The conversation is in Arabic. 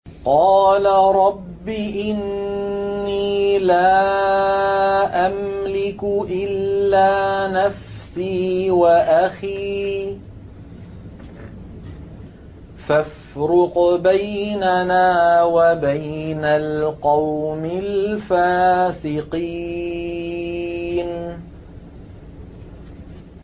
قَالَ رَبِّ إِنِّي لَا أَمْلِكُ إِلَّا نَفْسِي وَأَخِي ۖ فَافْرُقْ بَيْنَنَا وَبَيْنَ الْقَوْمِ الْفَاسِقِينَ